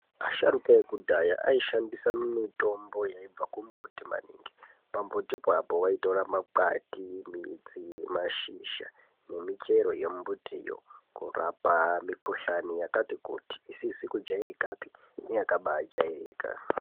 Asharuka ekudhaya aishandisa mitombo yeibva ku mbiti maningi pa mbuti po vaitora makwati, midzi, mazhizha ne michero ye mbiti kurapa mi kuhlani yakati kuti isizi ku jairikapi neyakabai jairika.